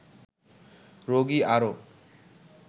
রোগী আরও